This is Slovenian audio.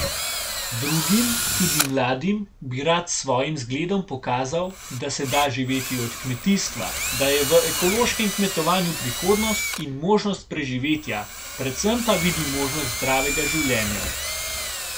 Drugim, tudi mladim, bi rad s svojim zgledom pokazal, da se da živeti od kmetijstva, da je v ekološkem kmetovanju prihodnost in možnost preživetja, predvsem pa vidi možnost zdravega življenja.